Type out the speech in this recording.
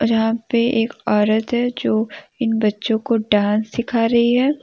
अर यहां पे एक औरत है जो इन बच्चों को डांस सिखा रही है।